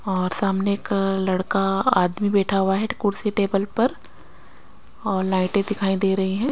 और सामने का लड़का आदमी बेठा हुआ है ट कुर्सी टेबल पर और लाइटे दिखाई दे रही हैं।